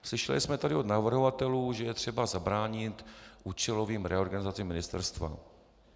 Slyšeli jsme tady od navrhovatelů, že je třeba zabránit účelovým reorganizacím ministerstva.